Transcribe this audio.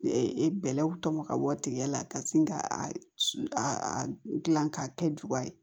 E e bɛlɛw tɔmɔ ka bɔ tigɛ la ka sin ka dilan k'a kɛ juga ye